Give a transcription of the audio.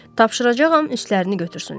Tapşıracağam üstlərini götürsünlər.